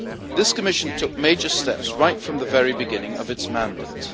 This Commission took major steps right from the very beginning of its mandate.